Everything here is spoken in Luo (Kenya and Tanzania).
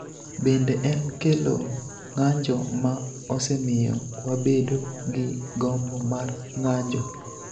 Bende en kelo ng�anjo ma osemiyo wabedo gi gombo mar ng�anjo